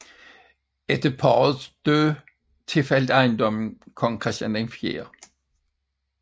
Efter parrets død tilfaldt ejendommen kong Christian 4